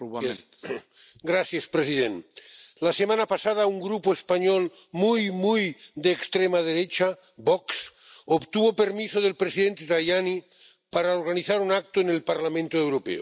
Señor presidente, la semana pasada un grupo español muy, muy de extrema derecha, VOX, obtuvo permiso del presidente Tajani para organizar un acto en el Parlamento Europeo.